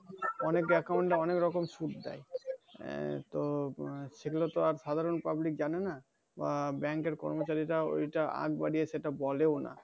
অনেক account অনেক রকম সুযোগ দেই। আহ তো সেগুলো তো আর সাধারণ public জানে না। আহ bank এর কর্মচারীরা ঐটা আগে সেটা বলোও না।